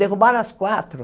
Derrubaram as quatro.